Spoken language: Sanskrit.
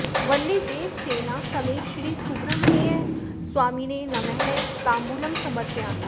वल्लीदेवसेना समेत श्री सुब्रह्मण्य स्वामिने नमः ताम्बूलं समर्पयामि